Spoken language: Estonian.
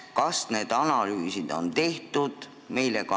Kas need analüüsid on tehtud?